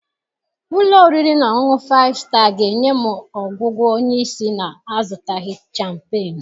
Ụlọ oriri na ọṅụṅụ Faịfụ Staa ga-enye m ọgwụgwọ onye isi na-azụtaghị champenuu?